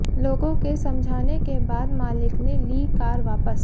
लोगों के समझाने के बाद मालिक ने ली कार वापस